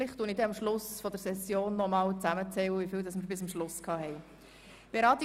Womöglich werde ich am Ende der Session noch einmal zusammenzählen, wie viele es bis zum Schluss geworden sind.